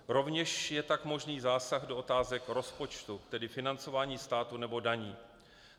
Rovněž je tak možný zásah do otázek rozpočtu, tedy financování státu nebo daní.